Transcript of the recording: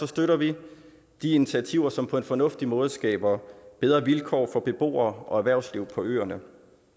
støtter vi de initiativer som på en fornuftig måde skaber bedre vilkår for beboere og erhvervsliv på øerne